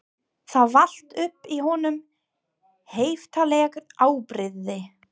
Það vall upp í honum heiftarleg afbrýði